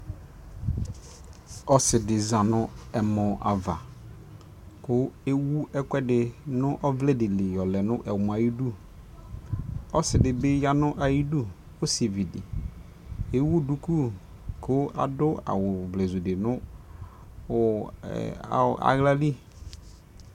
ɔsiidi zanʋ ɛmɔ aɣa kʋ ɛwʋ ɛkʋɛdi nʋ ɔvlɛ dili yɔlɛ nʋ ɛmɔɛ ayidʋ, ɔsii dibi yanʋ ayidʋ, ɔsivi di ɛwʋ dʋkʋkʋ adʋ awʋ ivlɛzʋ dinʋ alali